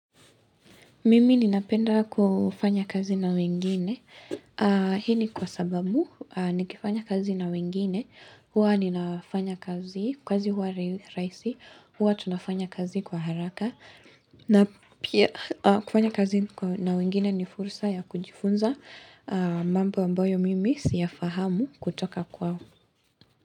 Mimi ninapenda kufanya kazi na wengine. Hii ni kwa sababu nikifanya kazi na wengine. Huwa ninafanya kazi, kazi huwa rahisi. Huwa tunafanya kazi kwa haraka. Na pia kufanya kazi na wengine ni fursa ya kujifunza. Mambo ambayo mimi siya fahamu kutoka kwao.